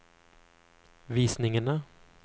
visningene